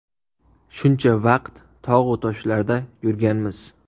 Shuncha vaqt tog‘-u toshlarda yurganmiz.